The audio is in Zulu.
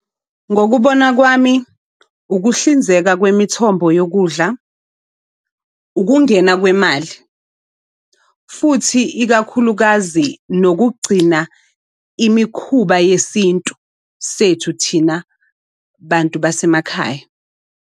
Ngokubona kwami ukuhlinzeka kwemithombo yokudla, ukungena kwemali, futhi ikakhulukazi nokugcina imikhuba yesintu sethu thina bantu basemakhaya.